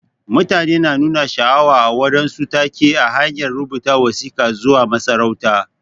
Mutane na nuna sha'awa a waɗansu take ta hanyar rubuta wasika zuwa ga masarautan.